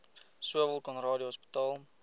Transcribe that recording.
sowel conradie hospitaal